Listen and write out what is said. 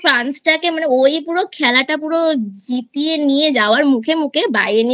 পুরো France টাকে মানে ওই পুরো খেলাটা পুরো জিতিয়ে নিয়ে যাওয়ার মুখে মুখে